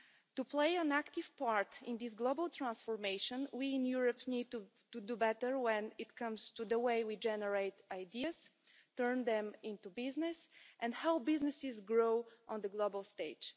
To play an active part in this global transformation, we in Europe need to do better when it comes to the way we generate ideas, turn them into business and help businesses grow on the global stage.